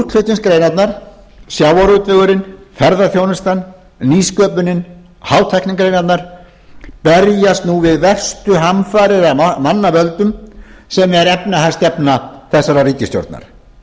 útflutningsgreinarnar sjávarútvegurinn ferðaþjónustan nýsköpunin og hátæknigreinarnar berjast nú við verstu hamfarir af mannavöldum sem er efnahagsstefna þessarar ríkisstjórnar